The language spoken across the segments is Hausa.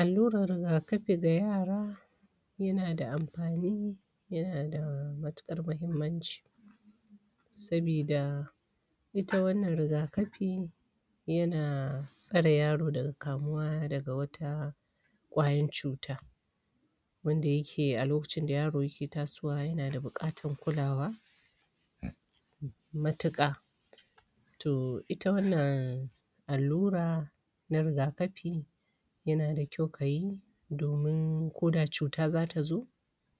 Alluran rigakafi ga yara yana da amfani yana da matuƙar mahimmanci sabida ita wannan rigakafi yana tsare yaro daga kamuwa daga wata ƙwayan cuta wanda yake a lokacin da yaro yake tasowa yana da buƙatan kulawa matuka. Toh ita wannan allura na rigakafi yanada kyau ka yi domin ko da cuta za ta zo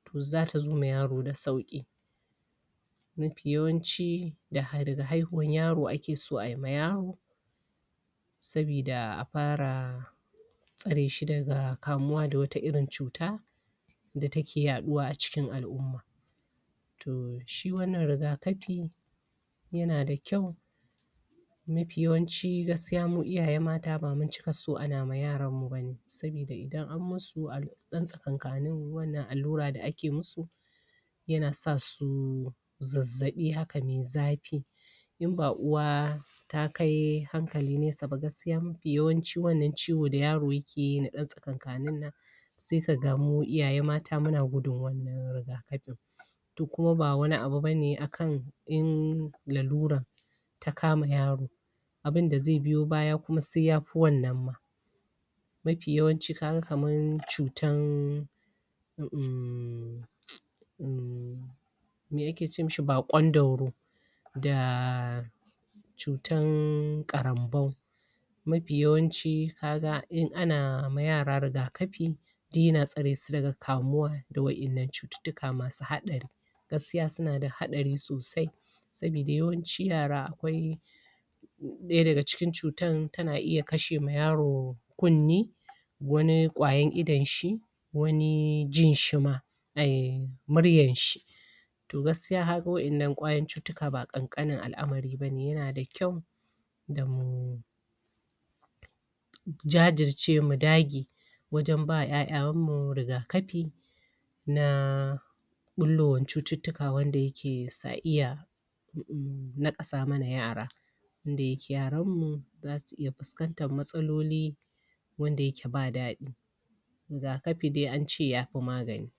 toh zata zo ma yaro da sauƙi, mafi yawanci da daga haihuwar yaro ake so a yi ma yaro sabida a para tsareshi daga kamuwa da wata irin cuta da take yaɗuwa a cikin al'umma. Toh shi wannan rigakafi yana da kyau mafi yawanci gaskiya mu iyaye mata bamu cika so ana ma yaran mu bane sabida idan an musu a dan tsakankanin wannan allura da ake musu yana sasu zazzaɓi haka mai zafi in ba uwa ta kai hankali nesa ba gaskiya mapi yawanci wannan ciwo da yaro yakeyi na ɗan tsakankanin nan seka ga mu iyaye mata muna gudun wannan rigakafin. Toh kuma ba wani abu bane a kan in laluran ta kama yaro abinda ze biyo baya kuma sai ya fi wannan ma, mafi yawanci kaga kaman cutan em em me ake ce mishi baƙon ɗauro da cutan ƙarambau, mafi yawanci ka ga in ana ma yara rigakafi duk yana tsaresu daga kamuwa da wa'innan cututtuka masu haɗari. Gaskiya sunada haɗari sosai sabida yawanci yara akwai ɗaya daga cikin cutan tana iya kashe ma yaro kunni, wani kwayan idanshi, wani jinshi ma, em muryanshi. Toh gaskiya kaga wa'innan kwayan cututtuka ba ƙanƙanin al'amari bane yana da ƙyau damu jajirce mu dage wajan ba ƴaƴanmu rigakapi na ɓullowan cututtuka wanda yake sa iya em naƙasa mana yara wanda yake yaranmu zasu iya fuskantar matsaloli wanda yake ba daɗi, rigakafi dai ance ya fi magani.